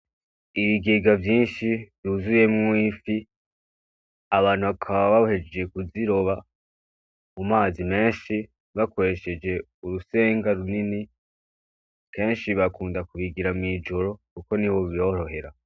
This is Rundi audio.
Ibigega vyinshi vyuzuyemwo ifi abantu bakaba bahejeje kuziroba mu mazi menshi bakoresheje urusenga runini, kenshi bakunda kubigira mw'ijoro kuko niho biborohera.